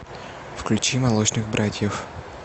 включи молочных братьев